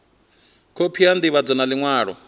khophi ya ndivhadzo ya liṅwalo